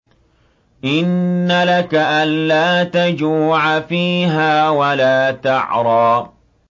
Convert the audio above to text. إِنَّ لَكَ أَلَّا تَجُوعَ فِيهَا وَلَا تَعْرَىٰ